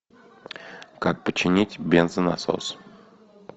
как починить бензонасос